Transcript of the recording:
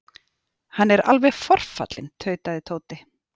Hann er alveg forfallinn tautaði Tóti.